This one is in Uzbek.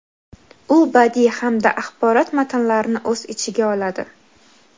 u badiiy hamda axborot matnlarni o‘z ichiga oladi.